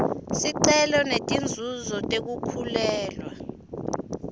sicelo setinzuzo tekukhulelwa